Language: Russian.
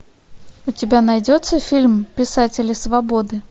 у тебя найдется фильм писатели свободы